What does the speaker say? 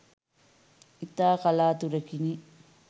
ඉතා කලාතුරකිනි